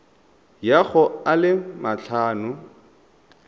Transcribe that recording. ya go a le matlhano